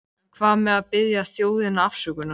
En hvað með að biðja þjóðina afsökunar?